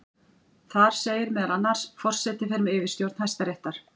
Þar segir meðal annars: Forseti fer með yfirstjórn Hæstaréttar.